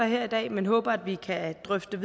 her i dag men håber at vi kan drøfte